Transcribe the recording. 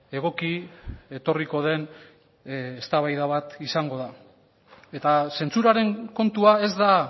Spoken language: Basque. egoki etorriko den eztabaida bat izango da eta zentsuraren kontua ez da